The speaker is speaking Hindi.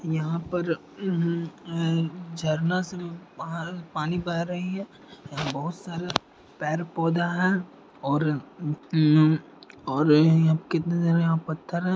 यहाँ पर झरना से पानी बह रही है और बहुत सारा पेड़ पौधा है और बड़े पत्थर भी है।